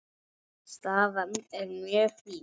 Staðan er mjög fín.